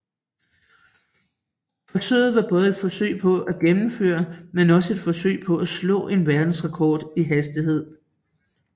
Forsøget var både et forsøg på at gennemføre men også et forsøg på at slå en verdensrekord i hastighed